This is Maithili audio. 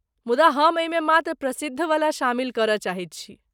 मुदा, हम एहिमे मात्र प्रसिद्धवला शामिल करय चाहैत छी।